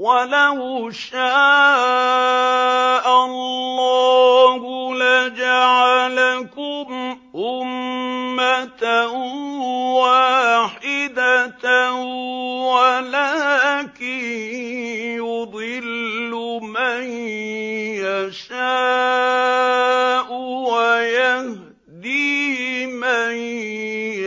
وَلَوْ شَاءَ اللَّهُ لَجَعَلَكُمْ أُمَّةً وَاحِدَةً وَلَٰكِن يُضِلُّ مَن يَشَاءُ وَيَهْدِي مَن